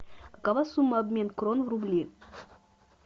какова сумма обмен крон в рубли